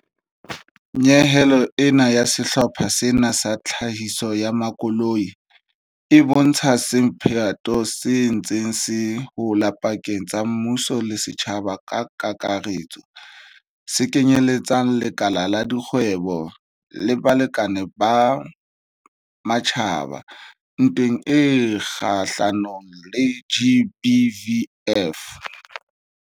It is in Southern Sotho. Nyehelo ena ya sehlopha sena sa tlhahiso ya makoloi e bontsha semphato se ntseng se hola pakeng tsa mmuso le setjhaba ka kakaretso, se kenyeletsang lekala la dikgwebo le balekane ba matjhaba, ntweng e kgahlanong le GBVF.